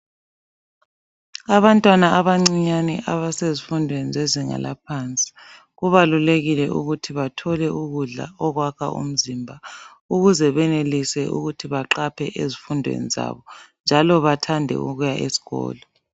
Abantwana abancinyane abasezifundweni zezinga laphansi kubalulekile ukuthi bathole ukudla okwakha umzimba ukuze benelise ukuthi baqaphe ezifundweni zabo njalo bathande ukuya esikolo.